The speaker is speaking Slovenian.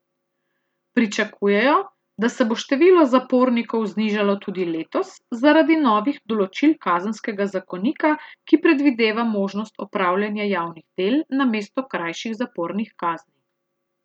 Pričakujejo, da se bo število zapornikov znižalo tudi letos zaradi novih določil kazenskega zakonika, ki predvideva možnost opravljanja javnih del namesto krajših zapornih kazni.